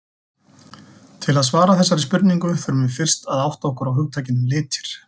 Til þess að svara þessari spurningu þurfum við fyrst að átta okkur á hugtakinu litir.